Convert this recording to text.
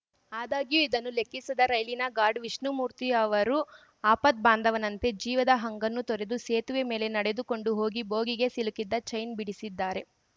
ಆದಾಗ್ಯೂ ಇದನ್ನು ಲೆಕ್ಕಿಸದ ರೈಲಿನ ಗಾರ್ಡ್‌ ವಿಷ್ಣುಮೂರ್ತಿ ಅವರು ಆಪದ್ಬಾಂಧವನಂತೆ ಜೀವದ ಹಂಗನ್ನು ತೊರೆದು ಸೇತುವೆ ಮೇಲೆ ನಡೆದುಕೊಂಡು ಹೋಗಿ ಬೋಗಿಗೆ ಸಿಲುಕಿದ್ದ ಚೈನ್‌ ಬಿಡಿಸಿದ್ದಾರೆ